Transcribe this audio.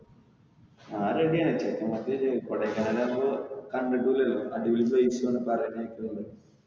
ഞാൻ ready ആണ്. ചെക്കന്മാരടെ അടുത്ത് കൊടയ്കാനാൽ നമ്മൾ കണ്ടിട്ടുമില്ലലോ അടിപൊളി place ഉം ആണ് പറയുന്നത് കേട്ടിട്ടുണ്ട്.